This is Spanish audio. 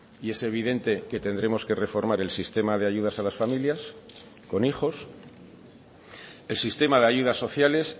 y es evidente que tendremos que reformar el sistema de ayudas a las familias con hijos el sistema de ayudas sociales